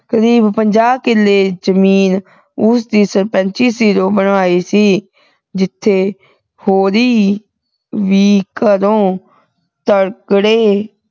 ਕਰੀਬ ਪੰਜਾਹ ਕਿੱਲੇ ਜ਼ਮੀਨ ਉਸਨੇ ਸਰਪੰਚੀ ਸਿਰੋਂ ਬਣਾਈ ਸੀ ਜਿਥੇ ਹੋਰੀਂ ਵੀ ਘਰੋਂ ਤਗੜੇ